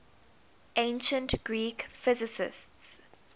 ancient greek physicists